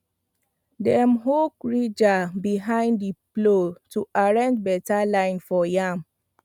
dem hook ridger behind the plow to arrange better line for yam